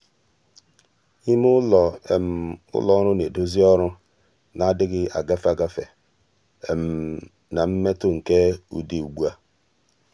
ímé ụ́lọ́ ụlọ um ọrụ nà-èdózí ọ́rụ́ nà-adị́ghị́ ágafe um ágafe na mmètụ́ nke ụ́dị́ um ugbu a.